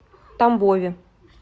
тамбове